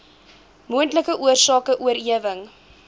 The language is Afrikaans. moontlike oorsake oorerwing